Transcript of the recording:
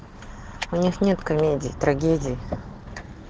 нет-нет комедии трагедии